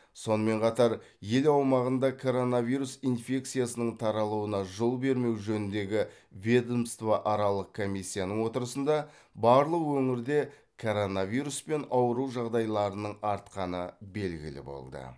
сонымен қатар ел аумағында коронавирус инфекциясының таралуына жол бермеу жөніндегі ведомствоаралық комиссияның отырысында барлық өңірде коронавируспен ауыру жағдайларының артқаны белгілі болды